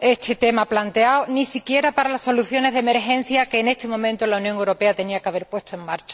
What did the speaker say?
el tema aquí planteado, ni siquiera para las soluciones de emergencia que en este momento la Unión Europea tenía que haber puesto en marcha.